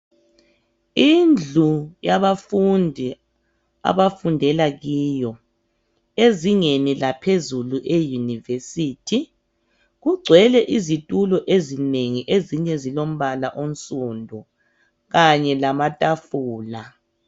Indlu yabafundi abafundela kiyo ezingeni laphezulu eUniversity kugcwele izitulo ezinengi ezinye zilombala onsundu, kanye lamatafula.